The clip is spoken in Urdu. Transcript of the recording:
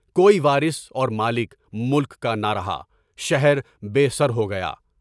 کوئی وارث اور مالک، ملک کا نہ رہا، شہر بے سر ہو گیا۔